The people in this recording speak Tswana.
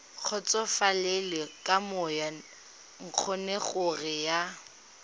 kgotsofalele ka moo ngongorego ya